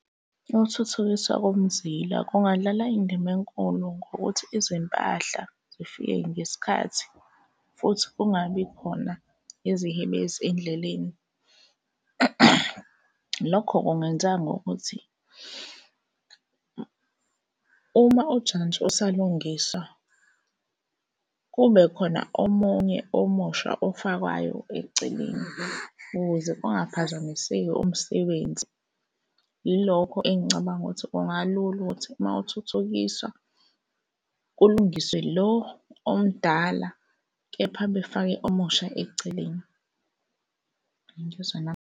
Ukuthuthukiswa komzila kungadlala indima enkulu ngokuthi izimpahla zifike ngesikhathi futhi kungabi khona izihebezi endleleni. Lokho kungenzeka ngokuthi uma ujantshi usalungiswa, kube khona omunye omusha ofakwayo eceleni ukuze kungaphazamiseki umsebenzi. Yilokho engicabanga ukuthi kungalula ukuthi uma uthuthukiswa kulungiswe lo omdala kepha befake omusha eceleni. Uyangizwa na?